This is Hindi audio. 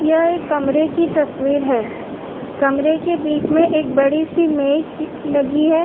यह एक कमरे की तस्वीर है। कमरे के बीच में एक बड़ी सी मेज लगी है।